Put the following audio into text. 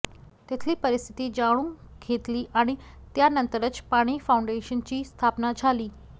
तिथली परिस्थिती जाणून घेतली आणि त्यानंतरच पाणी फाऊंडेशनची स्थापना झाली